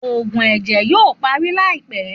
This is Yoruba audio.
Òògùn ẹjẹ yoo parí laipẹ